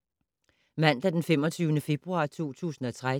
Mandag d. 25. februar 2013